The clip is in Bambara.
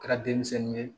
Kɛra denmisɛnnin ye